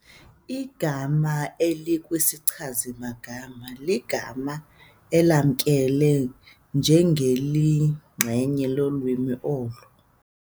Igama elikwisichazi-magama ligama elamkelwe njengeliyinxenye lolwimi olo.